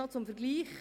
Zum Vergleich: